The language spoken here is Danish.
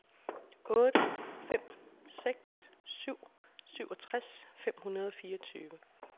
otte fem seks syv syvogtres fem hundrede og fireogtyve